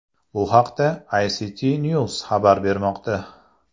Bu haqda ICTNews xabar bermoqda .